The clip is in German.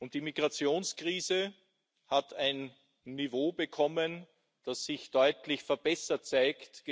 Die Migrationskrise hat ein Niveau bekommen, das sich gegenüber den letzten Jahren deutlich verbessert zeigt.